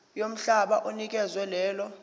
yomhlaba onikezwe lelo